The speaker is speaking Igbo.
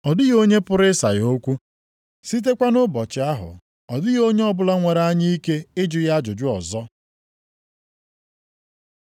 Ọ dịghị onye pụrụ ịsa ya okwu. Sitekwa nʼụbọchị ahụ, ọ dịghị onye ọbụla nwere anya ike ịjụ ya ajụjụ ọzọ.